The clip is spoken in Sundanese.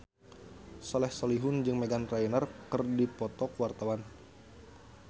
Soleh Solihun jeung Meghan Trainor keur dipoto ku wartawan